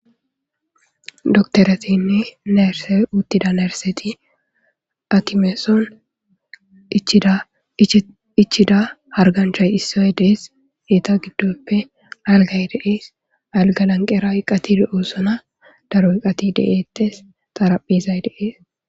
doktoretinne neerse uttida nerseti akimeeson cdichida harganchay issoy dees eeta giddoppe algay deees alga lanqera qatid oosona daro iqati de7eettes xaraphizay deees